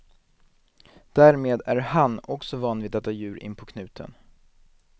Därmed är han också van vid att ha djur inpå knuten.